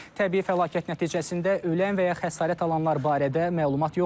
Təbii fəlakət nəticəsində ölən və ya xəsarət alanlar barədə məlumat yoxdur.